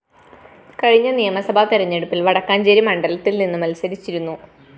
കഴിഞ്ഞ നിയമസഭ തെരഞ്ഞെടുപ്പില്‍ വടക്കാഞ്ചേരി മണ്ഡലത്തില്‍ നിന്ന് മത്സരിച്ചിരുന്നു